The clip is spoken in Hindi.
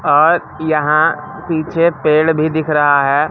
और यहां पीछे पेड़ भी दिख रहा है।